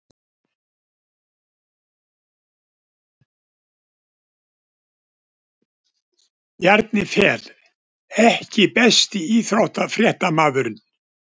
Bjarni Fel EKKI besti íþróttafréttamaðurinn?